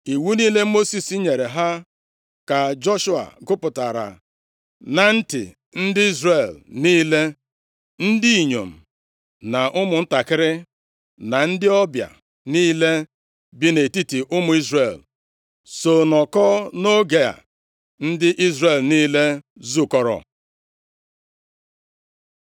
Iwu niile Mosis nyere ha ka Joshua gụpụtara na ntị ndị Izrel niile. Ndị inyom na ụmụntakịrị, na ndị ọbịa niile bi nʼetiti ụmụ Izrel so nọkọọ nʼoge a ndị Izrel niile zukọrọ.